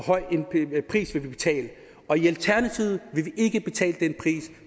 høj en pris vi vil betale og i alternativet vil vi ikke betale den pris